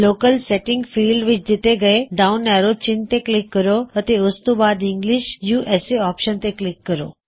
locale setting field ਵਿੱਚ ਥੱਲੇ ਦਿੱਤੇ ਡਾਉਨ ਐਰੋ ਚਿੰਨ੍ਹ ਤੇ ਕਲਿੱਕ ਕਰੋ ਅਤੇ ਉਸਤੋਂ ਬਾਅਦ ਇੰਗਲਿਸ਼ ਯੂਐਸਏ ਆਪਸ਼ਨ ਤੇ ਕਲਿੱਕ ਕਰੋ